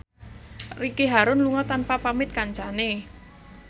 Ricky Harun lunga tanpa pamit kancane